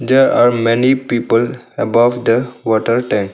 There are many people above the water tank.